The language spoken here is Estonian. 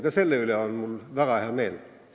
Ka selle üle on mul väga hea meel.